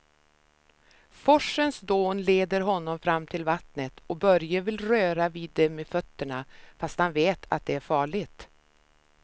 Forsens dån leder honom fram till vattnet och Börje vill röra vid det med fötterna, fast han vet att det är farligt.